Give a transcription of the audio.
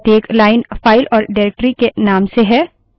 अब प्रत्येक line file और directory के name से है